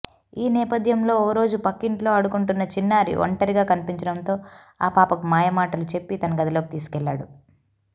ఈ నేపథ్యంలో ఓరోజు పక్కింట్లో ఆడుకుంటున్న చిన్నారి ఒంటరిగా కనిపించడంతో ఆ పాపకు మాయమాటలు చెప్పి తన గదిలోకి తీసుకెళ్లాడు